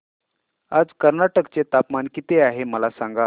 आज कर्नाटक चे तापमान किती आहे मला सांगा